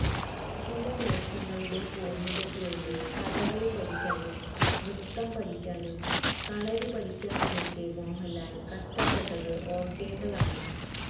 ചില വേഷങ്ങളുടെ പൂര്ണതയ്ക്കുവേണ്ടി കഥകളി പഠിക്കാനും നൃത്തം പഠിക്കാനും കളരിപഠിക്കാനുമൊക്കെ മോഹന്ലാല് കഷ്ടപ്പെട്ടത് ഓര്ക്കേണ്ടതാണ്